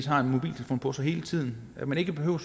har en mobiltelefon på sig hele tiden at man ikke behøver